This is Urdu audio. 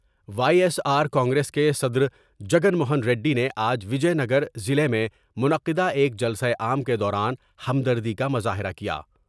وائی ایس آر کانگریس کے صدرجگن موہن ریڈی نے آج وجے نگر ضلع میں منعقدہ ایک جلسہ عام کے دوران ہمدردی کا مظاہرہ کیا ۔